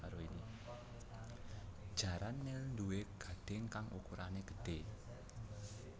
Jaran nil nduwé gadhing kang ukurané gedhé